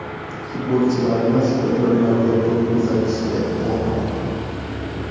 Futbolchilarimiz bir-birlariga to‘p uzatishga qo‘rqmoqda.